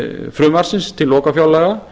frumvarpsins til lokafjárlaga